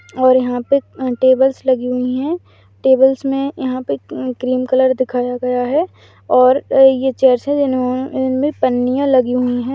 और यहां पे टेबल्स लगी हुई है टेबल्स में क्रीम कलर दिखाया गया है और ये चेयर्स जिन में पनिया लगी हुई है।